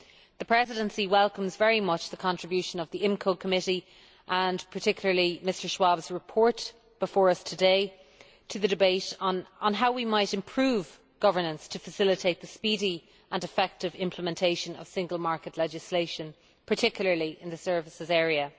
The Presidency welcomes very much the contribution of the Committee on the Internal Market and Consumer Protection, and particularly Mr Schwab's report before us today, to the debate on how we might improve governance to facilitate the speedy and effective implementation of single market legislation, particularly in the services area.